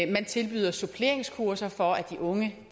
man tilbyder suppleringskurser for at de unge